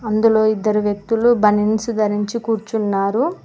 అందులో ఇద్దరు వ్యక్తులు బనిన్స్ ధరించి కూర్చున్నారు.